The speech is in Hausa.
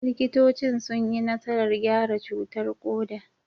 Likitocin sun yi nasarar gyara cutar koda.